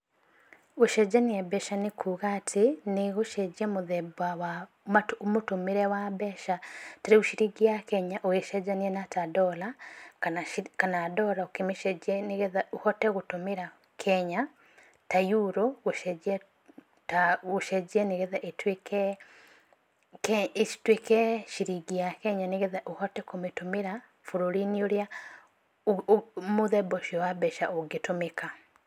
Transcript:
Gũcenjania mbeca nĩkuga atĩ, nĩ gũcenjia mũthemba wa mũtũmĩre wa mbeca, ta rĩu ciringi ya Kenya ũgĩcenjania na ta dollar, kana dollar ũkĩmĩcenjia nĩ getha ũhote gũtũmĩra Kenya, ta Euro gũcenjia nigetha ituĩke ciringi ya Kenya nĩgetha ũhote kũmĩtũmĩra bũrũri-inĩ ũrĩa mũthemba ũcio wa mbeca ũngĩtũmĩka.